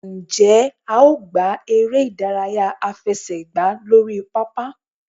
njẹ a o gbá eré idàráyá afẹsẹgba lorí pápá?